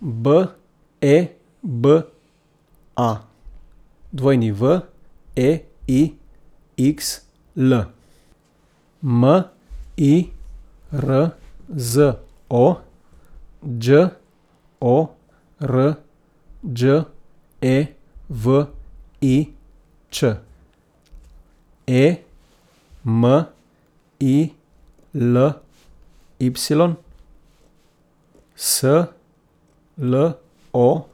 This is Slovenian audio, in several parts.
B E B A, W E I X L; M I R Z O, Đ O R Đ E V I Ć; E M I L Y, S L O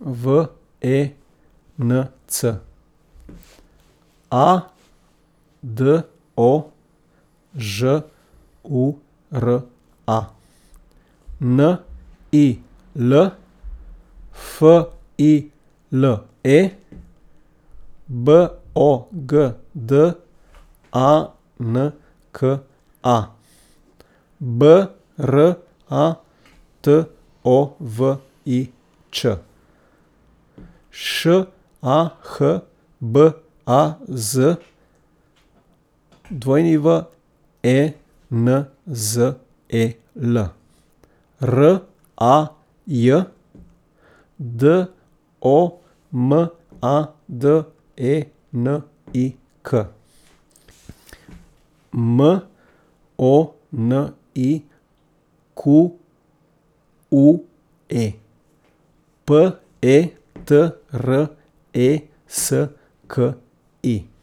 V E N C; A D O, Ž U R A; N I L, F I L E; B O G D A N K A, B R A T O V I Č; Š A H B A Z, W E N Z E L; R A J, D O M A D E N I K; M O N I Q U E, P E T R E S K I.